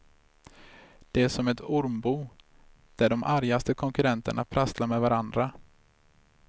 Det är som ett ormbo där de argaste konkurrenterna prasslar med varandra.